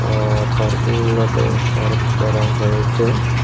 আ পার্কিংলটে পার্ক করা হয়েছে।